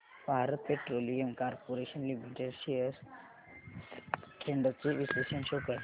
Bharat petroleum corporation limited shares trends चे विश्लेषण show कर